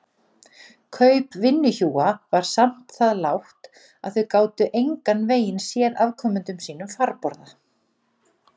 Kaup vinnuhjúa var samt það lágt að þau gátu engan veginn séð afkomendum sínum farborða.